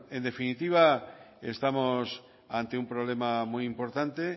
en definitiva estamos ante un problema muy importante